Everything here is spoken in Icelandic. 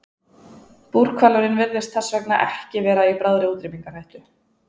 Búrhvalurinn virðist þess vegna ekki vera í bráðri útrýmingarhættu.